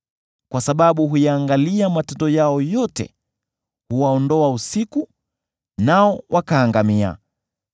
Kwa sababu huyaangalia matendo yao yote, huwaondoa usiku, nao wakaangamia.